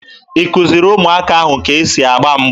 Ị kụziri ụmụaka ahụ ka e si agba mgba?